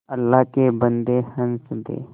अल्लाह के बन्दे हंस दे